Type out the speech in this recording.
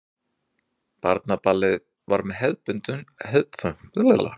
Barnaballið var með hefðbundnu sniði.